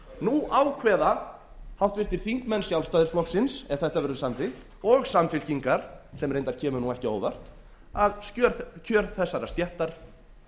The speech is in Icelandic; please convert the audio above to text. nú ákveða háttvirtir þingmenn sjálfstæðisflokksins ef þetta verður samþykkt og samfylkingar sem reyndar kemur ekki á óvart að kjör þessarar stéttar